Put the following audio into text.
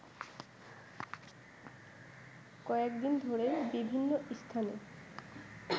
কয়েকদিন ধরেই বিভিন্নস্থানে